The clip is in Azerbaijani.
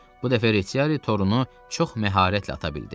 Bu dəfə reçiyari torunu çox məharətlə ata bildi.